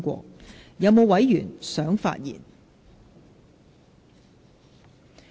是否有委員想發言？